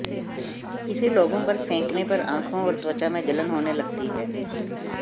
इसे लोगों पर फेंकने पर आंखों और त्वचा में जलन होने लगती है